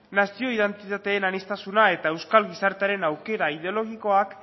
nazio identitatearen aniztasuna eta euskal gizartean aukera ideologikoak